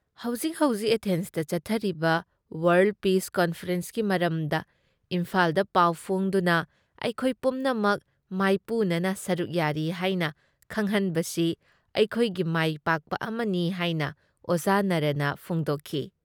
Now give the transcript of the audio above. ꯍꯧꯖꯤꯛ ꯍꯧꯖꯤꯛ ꯑꯦꯊꯦꯟꯁꯇ ꯆꯠꯊꯔꯤꯕ ꯋꯥꯥꯔꯜ ꯄꯤꯁ ꯀꯟꯐꯔꯦꯟꯁꯀꯤ ꯃꯔꯝꯗ ꯏꯝꯐꯥꯜꯗ ꯄꯥꯎ ꯐꯣꯡꯗꯨꯅ ꯑꯩꯈꯣꯏ ꯄꯨꯝꯅꯃꯛ ꯃꯥꯏꯄꯨꯅꯅ ꯁꯔꯨꯛ ꯌꯥꯔꯤ ꯍꯥꯏꯅ ꯈꯪꯍꯟꯕꯁꯤ ꯑꯩꯈꯣꯏꯒꯤ ꯃꯥꯏ ꯄꯥꯛꯄ ꯑꯃꯅꯤ ꯍꯥꯏꯅ ꯑꯣꯖꯥ ꯅꯥꯔꯥꯅ ꯐꯣꯡꯗꯣꯛꯈꯤ ꯫